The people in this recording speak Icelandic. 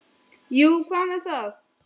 Jú og hvað með það!